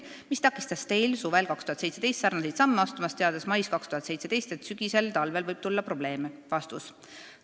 Mis takistas Teil suvel 2017 sarnaseid samme astumast, teades mais 2017, et sügisel-talvel võib tulla probleeme?